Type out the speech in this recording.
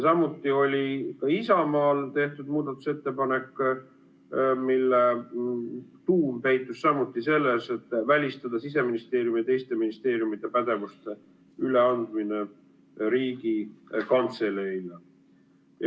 Samuti on Isamaa fraktsioon teinud muudatusettepaneku, mille tuum peitub selles, et välistada Siseministeeriumi ja teiste ministeeriumide pädevuste üleandmine Riigikantseleile.